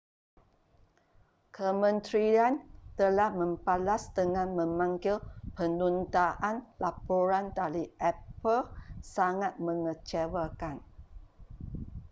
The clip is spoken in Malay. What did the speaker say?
kementerian telah membalas dengan memanggil penundaan laporan dari apple sangat mengecewakan